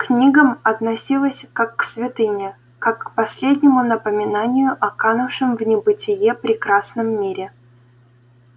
к книгам относилась как к святыне как к последнему напоминанию о канувшем в небытие прекрасном мире